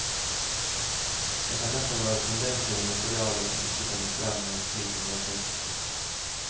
Det kan derfor være tendenser i materialet som ikke kommer frem ved en slik undersøkelse.